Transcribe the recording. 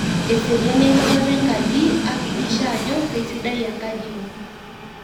eseriani enchatata enkaji akikisha ajo keisidai enkaji ino